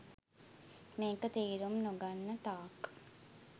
මේක තේරුම් නොගන්න තාක්